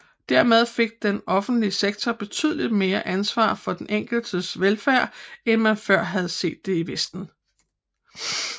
Dermed fik den offentlige sektor betydeligt mere ansvar for den enkeltes velfærd end man før havde set i vesten